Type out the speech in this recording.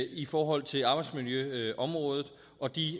i forhold til arbejdsmiljøområdet og de